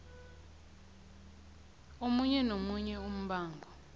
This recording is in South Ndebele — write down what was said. omunye nomunye umbango